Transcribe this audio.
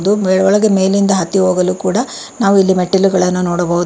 ದು ಮೇಲೊಳಗೆ ಮೇಲಿಂದ ಹತ್ತಿ ಹೋಗಲು ಕೂಡ ನಾವು ಇಲ್ಲಿ ಮೆಟ್ಟಿಲುಗಳನ್ನು ನೋಡಬಹುದು.